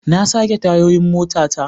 Na sake tayoyin motata.